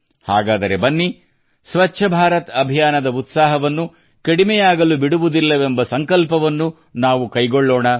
ಹಾಗಾದರೆ ಬನ್ನಿ ಸ್ವಚ್ಛ ಭಾರತ್ ಅಭಿಯಾನದ ಉತ್ಸಾಹವನ್ನು ಕಡಿಮೆಯಾಗಲು ಬಿಡುವುದಿಲ್ಲವೆಂಬ ಸಂಕಲ್ಪವನ್ನು ನಾವು ಕೈಗೊಳ್ಳೋಣ